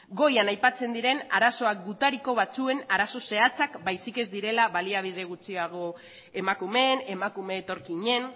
goian aipatzen diren arazoak gutariko batzuen arazo zehatzak baizik ez direla baliabide gutxiago emakumeen emakume etorkinen